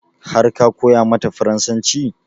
Har ka koya mata farasancin?